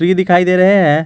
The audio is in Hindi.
पी दिखाई दे रहे हैं।